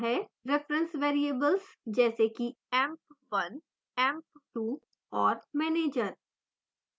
reference variables जैसे कि emp1 emp2 और manager